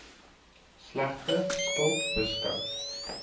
slegte skuld beskou